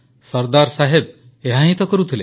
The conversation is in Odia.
ସର୍ଦ୍ଦାର ସାହେବ ଏହା ହିଁ ତ କରୁଥିଲେ